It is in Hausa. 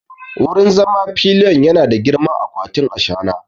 Wurin zama pillion yana da girman akwatin ashana!